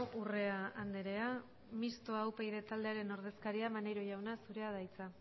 urrea andrea mixtoa upyd taldearen ordezkaria maneiro jauna zurea da hitza